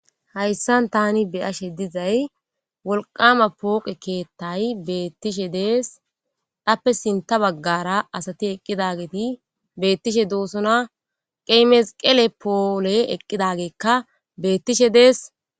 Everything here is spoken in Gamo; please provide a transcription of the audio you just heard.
Haysan tani be'ashsha dizzay wolqqama poqqe keththay betteshe de'es appe sinthe bagara asati ekkidageti betishshe de'esona qey mesiqele pollee ekkizagga betteshe de'es.